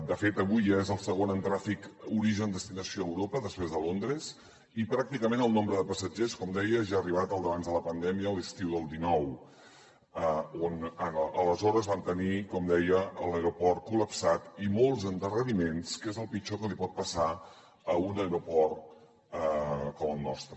de fet avui ja és el segon en tràfic origen destinació a europa després de londres i pràcticament el nombre de passatgers com deia ja ha arribat al d’abans de la pandèmia a l’estiu del dinou on aleshores vam tenir com deia l’aeroport col·lapsat i molts endarreriments que és el pitjor que pot passar a un aeroport com el nostre